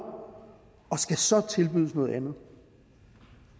og skal så tilbydes noget andet